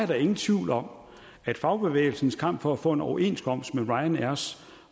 der ingen tvivl om at fagbevægelsens kamp for at få en overenskomst med ryanairs